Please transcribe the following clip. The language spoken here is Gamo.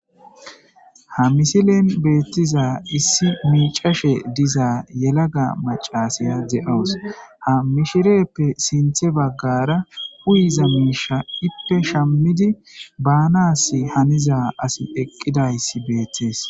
ha misilen beettiza issi miicashe diza yelaga macasaya ze7owus ha mishireppe sinthe baggara huuyiza miisha ippe shammidi baanas haniza asi eqqidayssi beettees